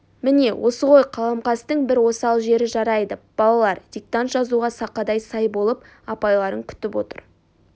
міне осы ғой қаламқастың бір осал жері жарайды балалар диктант жазуға сақадай-сай болып апайларын күтіп отыр